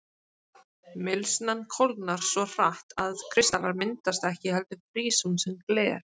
Mylsnan kólnar svo hratt að kristallar myndast ekki heldur frýs hún sem gler.